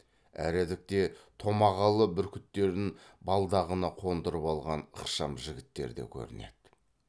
әредікте томағалы бүркіттерін балдағына қондырып алған ықшам жігіттер де көрінеді